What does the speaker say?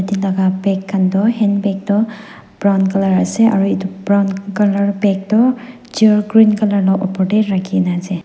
enika bag kan toh handbag toh brown colour ase aro edu brown colour bag toh chair green colour la opor tae ralhinaase.